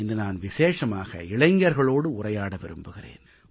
இன்று நான் விசேஷமாக இளைஞர்களோடு உரையாட விரும்புகிறேன்